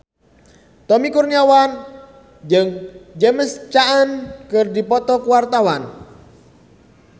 Tommy Kurniawan jeung James Caan keur dipoto ku wartawan